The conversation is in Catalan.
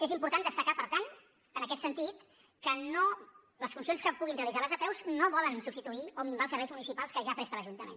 és important destacar per tant en aquest sentit que les funcions que puguin realitzar les apeus no volen substituir o minvar els serveis municipals que ja presta l’ajuntament